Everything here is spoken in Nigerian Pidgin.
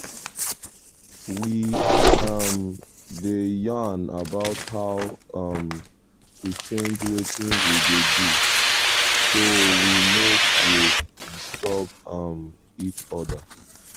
we um dey yarn about how um to change wetin we dey do so we no go disturb um each other.